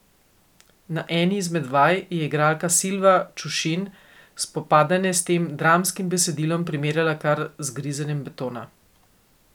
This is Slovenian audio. Na eni izmed vaj je igralka Silva Čušin spopadanje s tem dramskim besedilom primerjala kar z grizenjem betona.